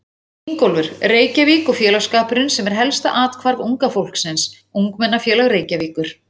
Ingólfur, Reykjavík- og félagsskapurinn sem er helsta athvarf unga fólksins: Ungmennafélag Reykjavíkur.